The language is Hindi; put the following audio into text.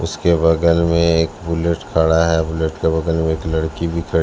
उसके बगल में एक बुलेट खड़ा है बुलेट के बगल में एक लड़की भी ख--